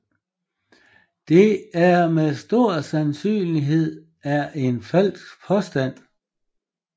Det er med stor sandsynlighed er en falsk påstand